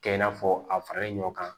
Kɛ i n'a fɔ a faralen ɲɔ kan